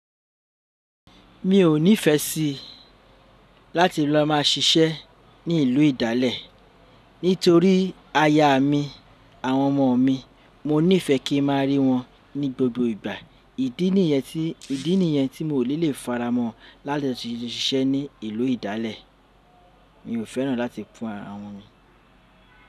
Mi ò nífẹẹ sí láti lọ máa ṣiṣẹ́ ní ìlú ìdálẹ̀ nítorí aya mi àwọn ọmọ mi, mo nífẹẹ kí ma rí wọn ní gbogbo ìgbà. Ìdí nìyẹn tí, ìdí nìyẹn tí mò ní lè faramọ́ láti lo ṣiṣẹ́ ní ìlú ìdálẹ̀. Mi ò fẹ́ràn láti fún àwọn mi.